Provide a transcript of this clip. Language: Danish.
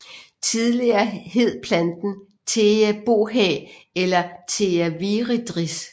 Tidligere hed planten Thea bohea eller Thea viridis